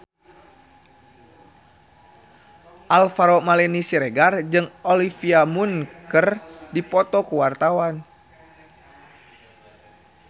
Alvaro Maldini Siregar jeung Olivia Munn keur dipoto ku wartawan